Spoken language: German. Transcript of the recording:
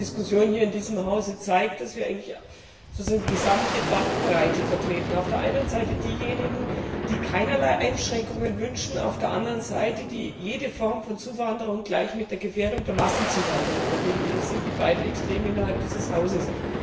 Die Diskussion hier in diesem Hause zeigt, dass wir die gesamte Bandbreite vertreten Auf der einen Seite diejenigen, die keinerlei Einschränkungen wünschen, auf der anderen Seite diejenigen, die jede Form von Zuwanderung gleich mit der Gefährdung durch Massenzuwanderung verbinden. Das sind die beiden Extreme innerhalb dieses Hauses.